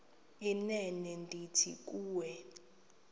inene ndithi kuwe